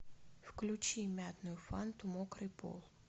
включи мятную фанту мокрый пол